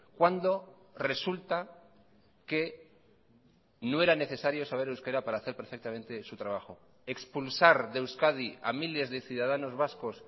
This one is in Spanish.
cuando resulta que no era necesario saber euskera para hacer perfectamente su trabajo expulsar de euskadi a miles de ciudadanos vascos